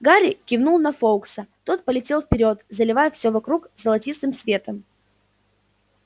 гарри кивнул на фоукса тот полетел вперёд заливая всё вокруг золотистым светом